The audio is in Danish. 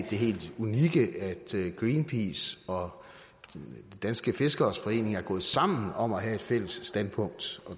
det helt unikke at greenpeace og de danske fiskeres forening er gået sammen om at have et fælles standpunkt